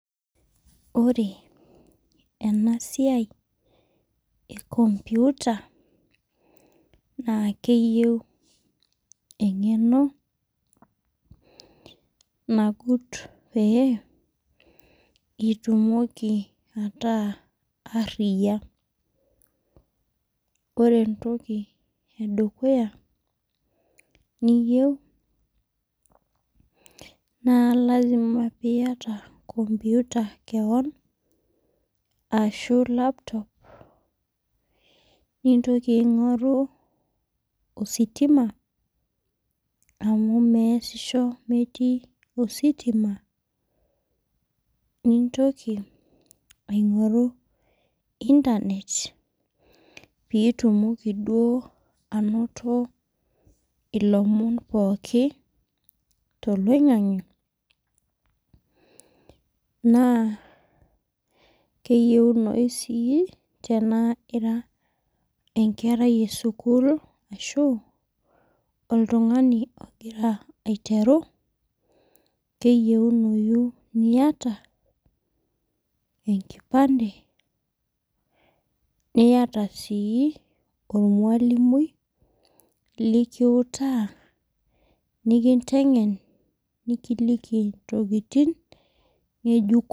Ore enasia enlomputa na keyieu engeno nagut peyie itumoki ataa ariyia ore entoki edukuya niyieu na lasima oiata computer ashu laptop nintoki aingoru ositima amu meesisho metii ositima pitumoki duo ainoto lomon pooki toloingangi na keyieunoi tenira enkerai esukul amu oltungani ogira aitwru keyieunoi niaga enkipande niata ormalimui likiutaa nikintengen nikiliki ntokitin ngejuko.